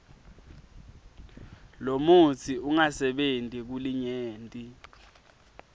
lomutsi ungasebenti kulinyenti